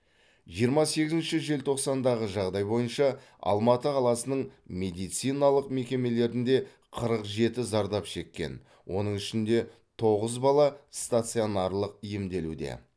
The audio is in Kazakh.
жиырма сегізінші желтоқсандағы жағдай бойынша алматы қаласының медициналық мекемелерінде қырық жеті зардап шеккен оның ішінде тоғыз бала стационарлық емделуде